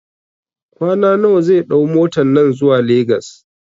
kwana nawa zai ɗau motan nan zuwa Lagos?